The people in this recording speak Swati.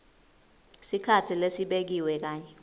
sikhatsi lesibekiwe kanye